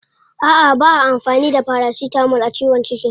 A'a ba'a amfani da paracetamol a ciwon ciki.